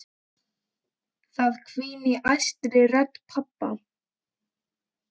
Það hvín í æstri rödd pabba.